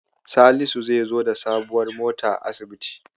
Salisu zai zo da sabuwar mota asibiti.